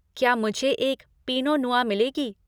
क्या मुझे एक पिनो नुआ मिलेगी?